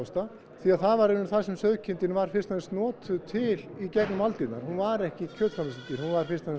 því það var það sem sauðkindin var fyrst og fremst notuð til í gegnum aldirnar hún var ekki kjötframleiðsludýr hún var fyrst og fremst